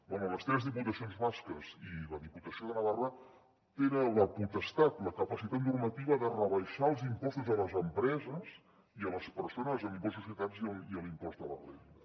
bé les tres diputacions basques i la diputació de navarra tenen la potestat la capacitat normativa de rebaixar els impostos a les empreses i a les persones amb impost de societats i l’impost de la renda